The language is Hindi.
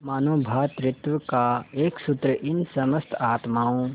मानों भ्रातृत्व का एक सूत्र इन समस्त आत्माओं